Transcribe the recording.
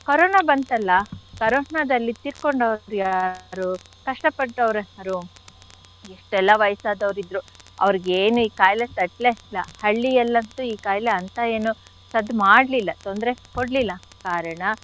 Corona ಬಂತಲ್ಲ corona ದಲ್ಲಿ ತೀರ್ಕೊಂಡವ್ರು ಯಾರು? ಕಷ್ಟ ಪಟ್ಟೋರ್ ಯಾರು? ಎಷ್ಟೆಲ್ಲ ವಯಸ್ಸಾದವ್ರ್ ಇದ್ರು ಅವ್ರಿಗೇನು ಈ ಕಾಯಿಲೆ ತಟ್ಲೇ ಇಲ್ಲ. ಹಳ್ಳಿಯಲ್ಲಂತು ಈ ಕಾಯಿಲೆ ಅಂಥ ಇನ್ನೂ ಸದ್ದ್ ಮಾಡ್ಲಿಲ್ಲ ತೊಂದ್ರೆ ಕೊಡ್ಲಿಲ್ಲ ಕಾರಣ.